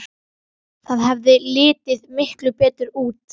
Það hefði litið miklu betur út.